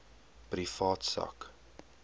privaat sak